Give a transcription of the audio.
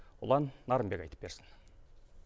ұлан нарынбек айтып берсін